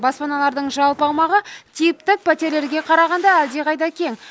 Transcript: баспаналардың жалпы аумағы типтік пәтерлерге қарағанда әлдеқайда кең